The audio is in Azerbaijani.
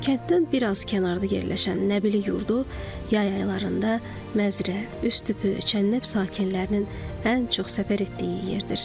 Kənddən biraz kənarda yerləşən Nəbili yurdu yay aylarında Məzrə, Üstüpü, Çənnəb sakinlərinin ən çox səfər etdiyi yerdir.